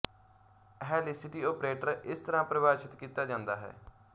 helicity operator ਇਸ ਤਰ੍ਹਾਂ ਪਰਿਭਾਸ਼ਿਤ ਕੀਤਾ ਜਾਂਦਾ ਹੈ